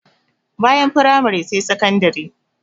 Bayan firamare sai sakandire.